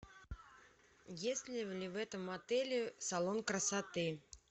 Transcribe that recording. есть ли в этом отеле салон красоты